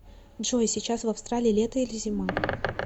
джой сейчас в австралии лето или зима